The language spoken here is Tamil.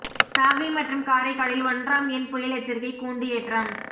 நாகை மற்றும் காரைக்காலில் ஒன்றாம் எண் புயல் எச்சரிக்கை கூண்டு ஏற்றம்